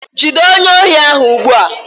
Jide onye ohi ahu ugbua!